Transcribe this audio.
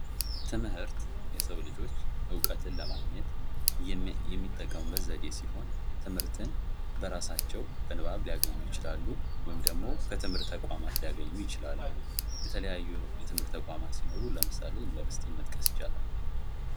ትምህርት የሰው ልጆች ዕውቀትን ለማግኘት የሚጠቀሙበት ዘዴ ሲሆን ትምህርትን በራሳቸው በንባብ ሊያገኙ ይችላሉ ወይም ደግሞ በትምህርት ተቋማት ሊያገኙ ይችላሉ የተለያዩ የትምህርት ተቋማት ሲኖሩ ለምሳሌ ዩኒቨርስቲን መጥቀስ ይቻላል።